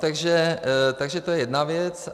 Takže to je jedna věc.